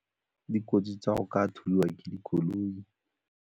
Dikotsi tsa go ka thulwa ke dikoloi.